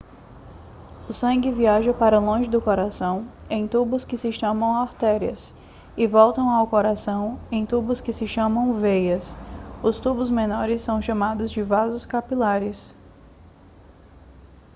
o sangue viaja para longe do coração em tubos que se chamam artérias e volta ao coração em tubos que se chamam veias os tubos menores são chamados de vasos capilares